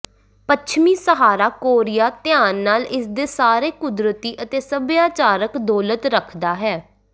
ਪੱਛਮੀ Sahara Korea ਧਿਆਨ ਨਾਲ ਇਸ ਦੇ ਸਾਰੇ ਕੁਦਰਤੀ ਅਤੇ ਸਭਿਆਚਾਰਕ ਦੌਲਤ ਰੱਖਦਾ ਹੈ